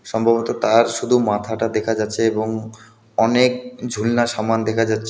সম্ভবত তার শুধু মাথাটা দেখা যাচ্ছে এবং অনেক ঝুলনা সামান দেখা যাচ্ছে .